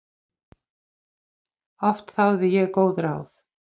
Oft þáði ég góð ráð.